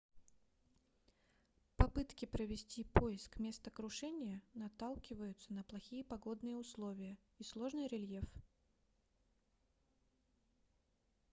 попытки провести поиск места крушения наталкиваются на плохие погодные условия и сложный рельеф